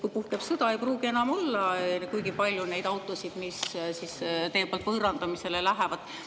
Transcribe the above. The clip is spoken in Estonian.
Kui puhkeb sõda, ei pruugi enam olla kuigi palju neid autosid, mis teie poolt võõrandamisele lähevad.